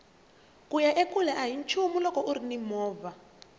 kuya ekule ahi nchumu loko urini movha